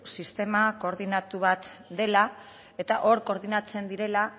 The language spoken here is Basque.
sistema koordinatu bat dela eta hor koordinatzen direla